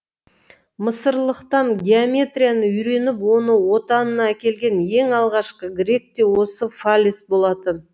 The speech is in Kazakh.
мысырлықтан геометрияны үйреніп оны отанына әкелген ең алғашқы грек те осы фалес болатын